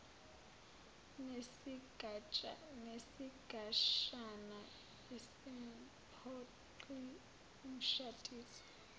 nesigatshana asimphoqi umshadisi